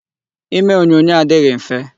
Ime onyonyo adịghị mfe.